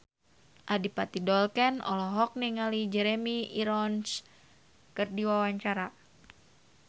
Adipati Dolken olohok ningali Jeremy Irons keur diwawancara